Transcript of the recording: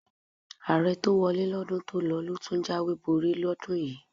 Ààrẹ tó wọlé lọ́dún tó lọ ló tún jáwèé borí lọ́dún yìí.